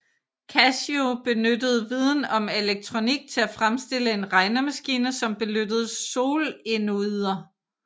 Kashio benyttede viden om elektronik til at fremstille en regnemaskine som benyttede solenoider